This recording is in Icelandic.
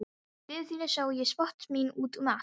Í lífi þínu sá ég spor mín út um allt.